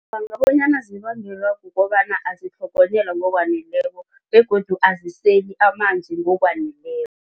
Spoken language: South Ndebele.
Ngicabanga bonyana zibangelwa kukobana azitlhogonyelwa ngokwaneleko begodu aziseli amanzi ngokwaneleko.